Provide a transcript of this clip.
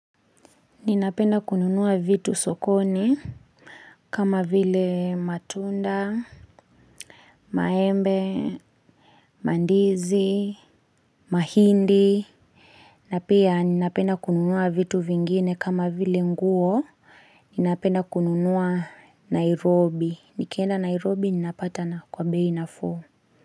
Ninapenda kununuwa vitu sokoni kama vile matunda, maembe, mandizi, mahindi. Na pia ninapenda kununuwa vitu vingine kama vile nguo. Ninapenda kununuwa Nairobi. Nikienda Nairobi ninapata na kwambehi na fuu.